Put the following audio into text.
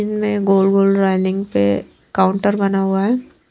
इनमें गोल गोल रेलिंग पे काउंटर बना हुआ है।